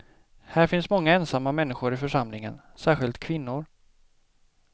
Här finns många ensamma människor i församlingen, särskilt kvinnor.